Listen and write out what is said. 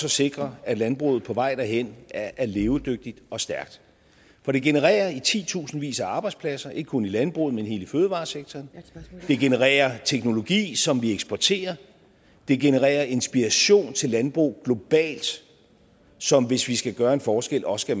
at sikre at landbruget på vej derhen er levedygtigt og stærkt for det genererer i titusindvis af arbejdspladser ikke kun i landbruget men i hele fødevaresektoren det genererer teknologi som vi eksporterer det genererer inspiration til landbrug globalt som hvis vi skal gøre en forskel også